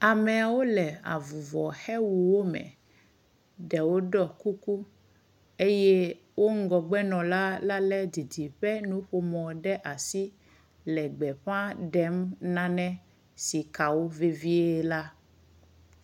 Ameawo le avuvɔxewuwo me. Ɖewo ɖɔ kuku eye wo ŋgɔgbenɔla la le didiƒenuƒomɔ ɖe asi le gbeƒa ɖem nane si ka wo vevie la.